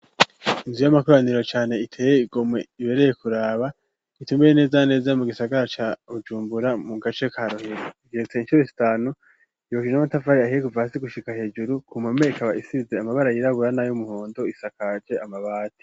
Inzu y'amakoraniro cane iteye igomwe ibereye kuraba itumbereye neza na neza mu gisagara ca Bujumbura mu gace ka Rohero ikeretse incuro zitanu yubakishije n'amatafari ahiye kuva hasi gushika hejuru ku mpome ikaba isize amabara yiraburana na y'umuhondo isakaje amabati.